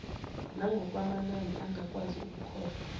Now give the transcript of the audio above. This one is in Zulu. nangokwamanani angakwazi ukukhokhwa